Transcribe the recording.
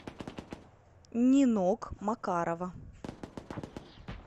нинок макарова